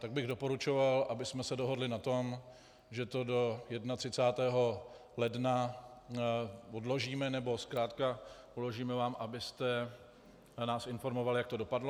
Tak bych doporučoval, abychom se dohodli na tom, že to do 31. ledna odložíme, nebo zkrátka uložíme vám, abyste nás informoval, jak to dopadlo.